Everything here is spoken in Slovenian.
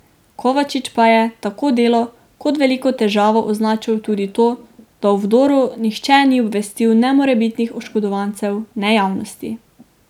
Kovačič pa je, tako Delo, kot veliko težavo označil tudi to, da o vdoru nihče ni obvestil ne morebitnih oškodovancev ne javnosti.